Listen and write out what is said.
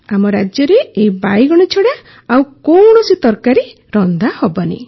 ଆମ ରାଜ୍ୟରେ ଏହି ବାଇଗଣ ଛଡ଼ା ଆଉ କୌଣସି ତରକାରୀ ରନ୍ଧା ହେବନି